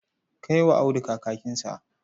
Kai wa Audu kakinsa.